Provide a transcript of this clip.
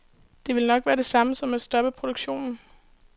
Det ville nok være det samme som at stoppe produktionen.